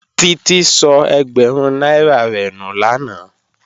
Títí sọ ẹgbẹ̀rún náírà rẹ̀ nù lánàá